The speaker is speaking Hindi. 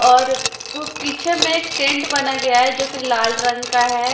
और अ वो पीछे में एक टेंट बना गया है जोकि लाल रंग का है।